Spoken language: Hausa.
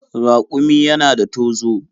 Raƙumi yana da tozo.